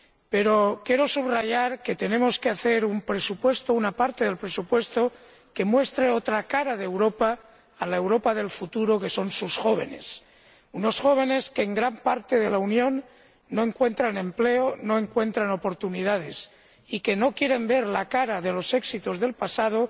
Pero quiero subrayar que una parte del presupuesto ha de mostrar otra cara de Europa a la Europa del futuro, que son sus jóvenes, unos jóvenes que en gran parte de la Unión no encuentran empleo, no encuentran oportunidades, y que no quieren ver la cara de los éxitos del pasado,